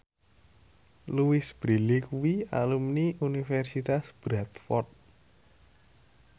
Louise Brealey kuwi alumni Universitas Bradford